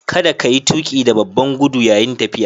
Kada ka yi tuƙi da babban gudu yayin tafiya.